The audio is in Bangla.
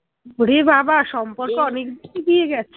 ওরে বাবা সম্পর্ক অনেকদূর এগিয়ে গেছে